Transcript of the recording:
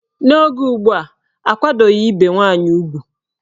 N'oge ugbua, akwadoghi ibe nwaanyị ugwu.